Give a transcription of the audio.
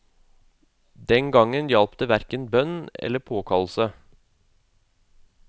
Den gangen hjalp det hverken bønn eller påkallelse.